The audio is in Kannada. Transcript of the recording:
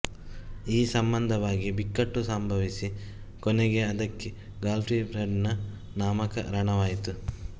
ಈ ಸಂಬಂಧವಾಗಿ ಬಿಕ್ಕಟ್ಟು ಸಂಭವಿಸಿ ಕೊನೆಗೆ ಅದಕ್ಕೆ ಗಾರ್ಫೀಲ್ಡನ ನಾಮಕರಣವಾಯಿತು